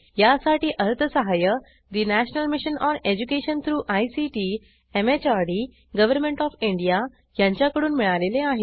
यासाठी अर्थसहाय्य national mission on education through ICT MHRD government of India यांच्याकडून मिळालेले आहे